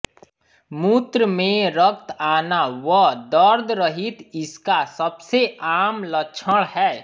मूत्र में रक्त आना व दर्दरहित इसका सबसे आम लक्षण हैं